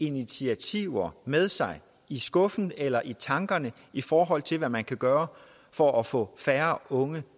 initiativer med sig i skuffen eller i tankerne i forhold til hvad man kan gøre for at få færre unge